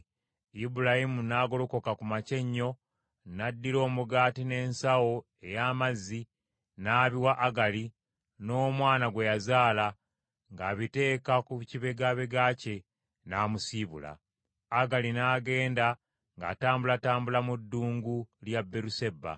Ibulayimu n’agolokoka ku makya ennyo, n’addira omugaati n’ensawo ey’amazzi n’abiwa Agali n’omwana gwe yazaala ng’abiteeka ku kibegabega kye, n’amusiibula. Agali n’agenda ng’atambulatambula mu ddungu lya Beeruseba.